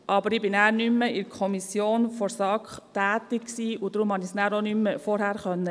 Danach war ich nicht mehr in der SAK tätig, und deshalb konnte ich den Antrag auch nicht mehr vorher einreichen.